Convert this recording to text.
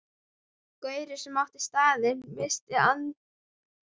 Gaurinn sem átti staðinn missti andlitið og rak mig.